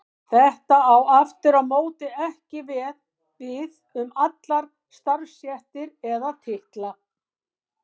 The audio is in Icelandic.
Þetta á aftur á móti ekki við um allar starfstéttir eða titla.